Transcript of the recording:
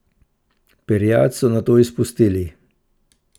Perjad so nato izpustili.